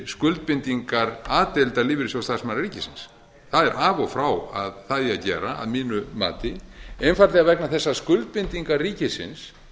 skuldbindingar a deildar lífeyrissjóðs starfsmanna ríkisins það er af og frá að það eigi að gera að mínu mati einfaldlega vegna þess að skuldbindingar ríkisins